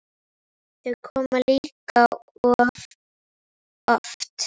Þau koma líka of oft.